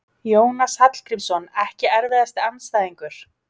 Jónas Hallgrímsson EKKI erfiðasti andstæðingur?